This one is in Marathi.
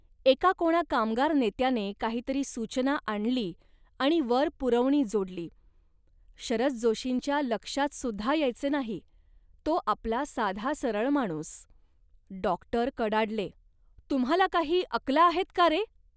एका कोणा कामगार नेत्याने काहीतरी सूचना आणली आणि वर पुरवणी जोडली, "शरद जोशींच्या लक्षातसुद्धा यायचे नाही, तो आपला साधा सरळ माणूस. " डॉक्टर कडाडले, "तुम्हाला काही अकला आहेत का रे